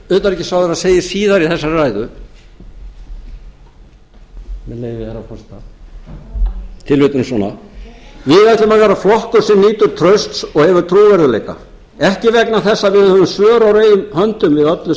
herra forseta tilvitnunin er svona við ætlum að vera flokkur sem nýtur trausts og hefur trúverðugleika ekki vegna þess að við höfum svör á reiðum höndum við öllu